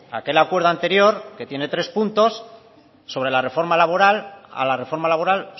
aquel acuerdo anterior que tiene tres puntos sobre la reforma laboral a la reforma laboral